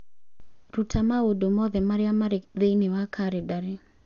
rũta maũndũ mothe marĩa marĩ thĩinĩ wa kalendarĩ